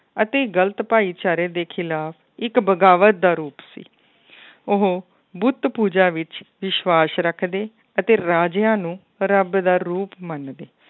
ਅਤੇ ਗ਼ਲਤ ਭਾਈਚਾਰੇ ਦੇ ਖਿਲਾਫ਼ ਇੱਕ ਬਗਾਵਤ ਦਾ ਰੂਪ ਸੀ ਉਹ ਬੁੱਤ ਪੂਜਾ ਵਿੱਚ ਵਿਸਵਾਸ਼ ਰੱਖਦੇ ਅਤੇ ਰਾਜਿਆਂ ਨੂੰ ਰੱਬ ਦਾ ਰੂਪ ਮੰਨਦੇ